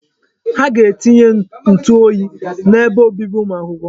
Ha ga-etinye ntụ oyi n'ebe obibi ụmụ akwụkwọ.